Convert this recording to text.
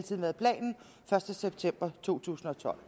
første september to tusind og tolv